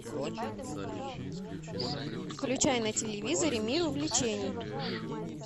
включай на телевизоре мир увлечений